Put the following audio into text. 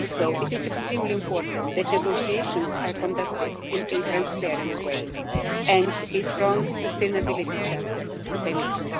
It is also extremely important that negotiations are conducted in a transparent way and a strong sustainability chapter is a must.